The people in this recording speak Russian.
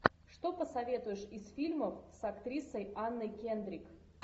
что посоветуешь из фильмов с актрисой анной кендрик